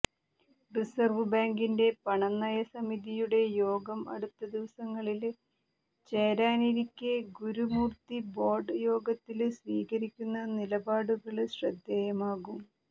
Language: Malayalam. റിസര്വ് ബാങ്കിന്റെ പണനയ സമിതിയുടെ യോഗം അടുത്ത ദിവസങ്ങളില് ചേരാനിരിക്കേ ഗുരുമൂര്ത്തി ബോര്ഡ് യോഗത്തില് സ്വീകരിക്കുന്ന നിലപാടുകള് ശ്രദ്ധേയമാകും